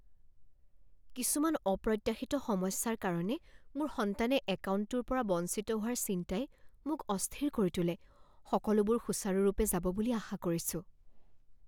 কিছুমান অপ্ৰত্যাশিত সমস্যাৰ কাৰণে মোৰ সন্তানে একাউণ্টটোৰ পৰা বঞ্চিত হোৱাৰ চিন্তাই মোক অস্থিৰ কৰি তোলে, সকলোবোৰ সুচাৰুৰূপে যাব বুলি আশা কৰিছোঁ।